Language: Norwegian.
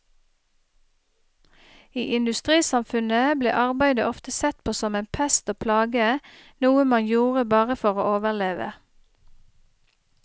I industrisamfunnet ble arbeidet ofte sett på som en pest og plage, noe man gjorde bare for å overleve.